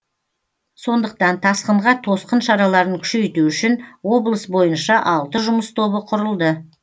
сондықтан тасқынға тосқын шараларын күшейту үшін облыс бойынша алты жұмыс тобы құрылды